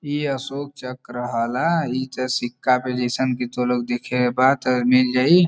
ई अशोक चक्र हला। सिक्का पे जईसन कि तोह लोग दिखे के बा त मिल जाई।